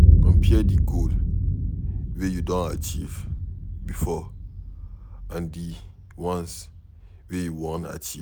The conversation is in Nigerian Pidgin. Compare di goals wey you don achieve before and di once wey you wan achieve